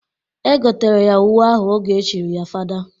E gotere ya uwe ahụ oge e chiri ya fada.